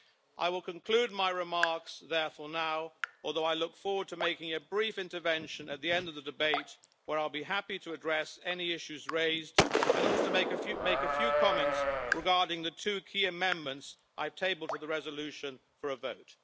I will conclude my remarks therefore now, although I look forward to making a brief intervention at the end of the debate when I will be happy to address any issues raised, and to make a few comments regarding the two key amendments I have tabled to the resolution for a vote.